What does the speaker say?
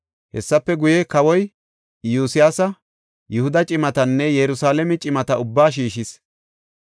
Hessafe guye, kawoy Iyosyaasi Yihuda cimatanne Yerusalaame cimata ubbaa shiishis.